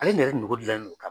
Ale dun yɛrɛ nogo dilannen no ka